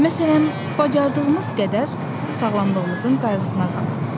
Məsələn, bacardığımız qədər sağlamlığımızın qayğısına qalırıq.